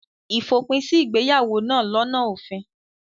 Ìfòpin sí ìgbéyàwó náà lọ́nà òfin.